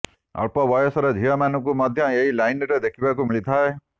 ଅଳ୍ପ ବୟସର ଝିଅମାନଙ୍କୁ ମଧ୍ୟ ଏହି ଲାଇନ୍ରେ ଦେଖିବାକୁ ମିଳିଥାଏ